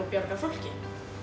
að bjarga fólki